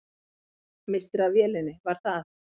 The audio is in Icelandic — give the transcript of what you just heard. Misstir af vélinni, var það?